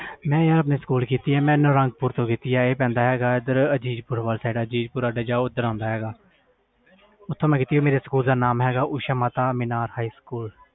ਮੈਂ ਨਾਰੰਗ ਪੁਰ ਤੋਂ ਕੀਤੀ ਆ ਇਹ ਪੈਂਦਾ ਹੈ ਗਏ ਅਜੀਤ ਪੁਰ ਵਾਲੀ ਸਾਈਡ ਅਜੀਤ ਪੁਰ ਜਾਓ ਓਦਰ ਆਂਦਾ ਹੈ ਗਾ ਓਥੋਂ ਮੈਂ ਕੀਤੀ ਮੇਰੇ ਸਕੂਲ ਦਾ ਨਾਮੁ ਹੈ ਗਏ os mata high school